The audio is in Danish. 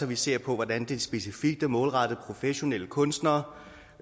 vi ser på hvordan det specifikt er målrettet professionelle kunstnere